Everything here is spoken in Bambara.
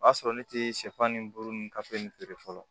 O y'a sɔrɔ ne tɛ sɛfan ni buru ninnu kafo nin feere fɔlɔ